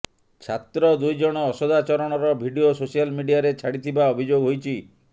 ଛାତ୍ର ଦୁଇ ଜଣ ଅସଦାଚରଣର ଭିଡିଓ ସୋସିଆଲ ମିଡ଼ିଆରେ ଛାଡ଼ିଥିବା ଅଭିଯୋଗ ହୋଇଛି